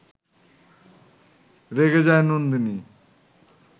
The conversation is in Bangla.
রেগে যায় নন্দিনী